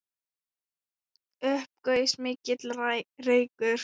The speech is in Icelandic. Upp gaus mikill reykur.